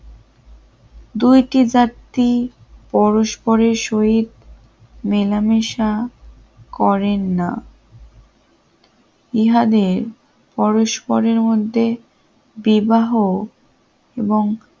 দুইটি জাতি পরস্পরের সহিত মেলামেশা করেন না ইহাদের পরস্পরের মধ্যে বিবাহ এবং